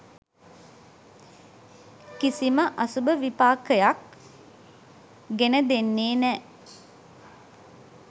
කිසිම අසුබ විපාකයක් ගෙන දෙන්නේ නෑ.